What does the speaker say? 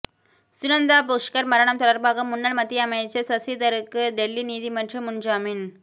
சுனந்தா புஷ்கர் மரணம் தொடர்பாக முன்னாள் மத்திய அமைச்சர் சசிதரூருக்கு டெல்லி நீதிமன்றம் முன்ஜாமீன்